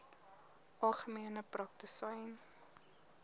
algemene praktisyns aps